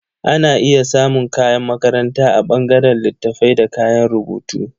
Ana iya samun kayan makaranta a ɓangaren littattafaibda kayan rubutu